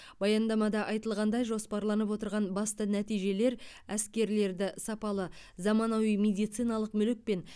баяндамада айтылғандай жоспарланып отырған басты нәтижелер әскерлерді сапалы заманауи медициналық мүлікпен